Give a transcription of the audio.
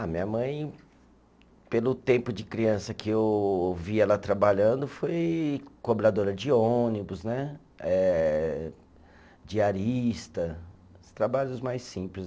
A minha mãe, pelo tempo de criança que eu vi ela trabalhando, foi cobradora de ônibus né, eh diarista, trabalhos mais simples.